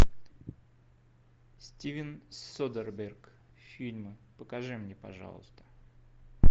стивен содерберг фильмы покажи мне пожалуйста